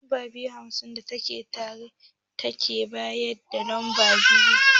Lamba dubu biyu da hamsin da tara, take bayan lamba dubu biyu da sittin.